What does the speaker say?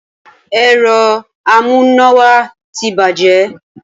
Ẹ̀rọ amúnáwá ti bàjẹ́